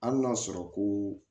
Hali n'a sɔrɔ ko